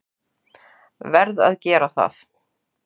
Verð að gera það.